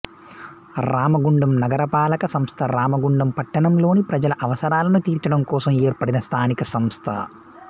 రామగుండం నగరపాలక సంస్థ రామగుండం పట్టణంలోని ప్రజల అవసరాలను తీర్చడం కోసం ఏర్పడిన స్థానిక సంస్థ